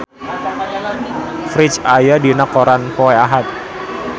Ferdge aya dina koran poe Ahad